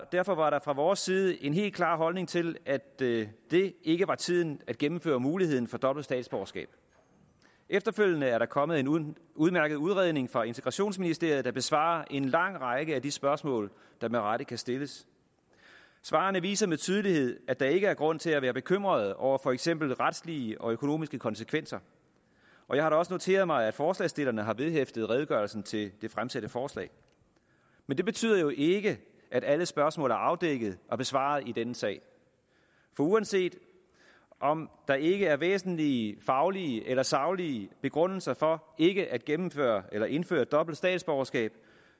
derfor var der fra vores side en helt klar holdning til at det ikke var tiden at gennemføre muligheden for dobbelt statsborgerskab efterfølgende er der nu kommet en udmærket udredning fra integrationsministeriet der besvarer en lang række af de spørgsmål der med rette kan stilles svarene viser med tydelighed at der ikke er grund til at være bekymret over for eksempel retslige og økonomiske konsekvenser og jeg har da også noteret mig at forslagsstillerne har vedhæftet redegørelsen til det fremsatte forslag men det betyder jo ikke at alle spørgsmål er afdækket og besvaret i denne sag for uanset om der ikke er væsentlige faglige eller saglige begrundelser for ikke at gennemføre eller indføre dobbelt statsborgerskab